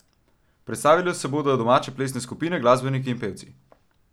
Predstavile se bodo domače plesne skupine, glasbeniki in pevci.